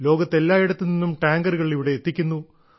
ലോകത്തെല്ലായിടത്തുനിന്നും ടാങ്കറുകൾ ഇവിടെ എത്തിക്കുന്നു